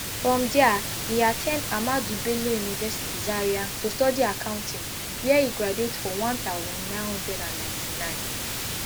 from dia e at ten d ahmadu bello university zaria to study accounting wia e graduate for one thousand, nine hundred and ninety-nine